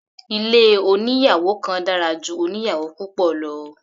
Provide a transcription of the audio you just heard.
Ilé oníyàwò kan dára ju oníyàwò púpọ̀ lọ.